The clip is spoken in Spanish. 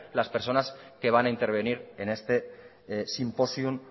las personas que van a intervenir en este simposium